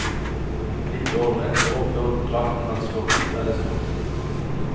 Litt over ett år før kontrakten hans går ut, er det slutt.